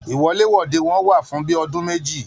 Iwọ̀lèwọ̀de wọn wà fún bíi ọdún méjì.